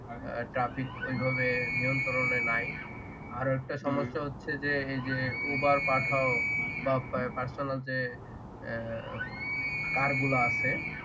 Trafic ওইভাবে নিয়ন্ত্রণে নাই আরেকটা সমস্যা হচ্ছে যে উবার পাঠাও বা পার্সোনাল যে Car গুলো আছে